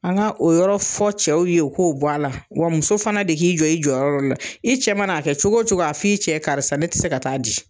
An ka o yɔrɔ fɔ cɛw ye u k'o bɔ a la wa muso fana de k'i jɔ i jɔyɔrɔ la o la i cɛ man'a kɛ cogo cogo a fɔ i cɛ karisa ne te se ka taa di